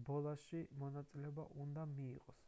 რბოლაში მონაწილეობა უნდა მიიღოს